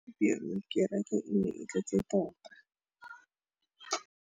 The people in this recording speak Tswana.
Gompieno kêrêkê e ne e tletse tota.